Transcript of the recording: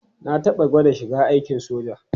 Na taɓa gwada shiga aikin soja.